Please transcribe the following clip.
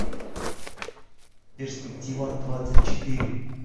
перспективадвадцатьчетыре